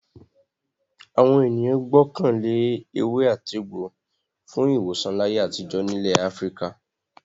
Àwọn ènìyàn gbọ́kàn lé ewé-àtegbò fún ìwòsàn láyé àtijọ́ nílẹ̀ Áfíríkà.